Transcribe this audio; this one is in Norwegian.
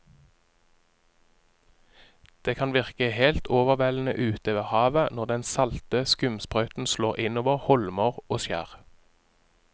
Det kan virke helt overveldende ute ved havet når den salte skumsprøyten slår innover holmer og skjær.